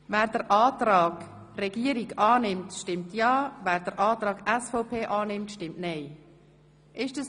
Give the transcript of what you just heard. Wer dem Antrag SiK-Mehrheit und Regierungsrat annimmt, stimmt ja, …– Wunderbar.